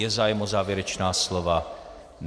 Je zájem o závěrečná slova?